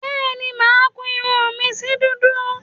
Bẹ́ẹ̀ni màá kun irun mi sí dúdú